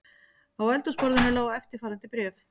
Á eldhúsborðinu lá eftirfarandi bréf